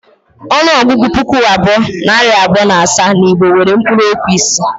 Ọnụọgụgụ ‘puku abụọ, nari abụọ na asaa’ n’Igbo nwere mkpuruokwu isii